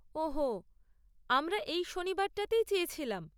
ওহ হো, আমারা এই শনিবারটাতেই চেয়েছিলাম।